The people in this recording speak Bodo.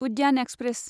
उद्यान एक्सप्रेस